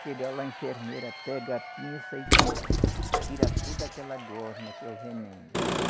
Chega lá a enfermeira, pega a pinça e tira toda aquela gosma, que é o veneno.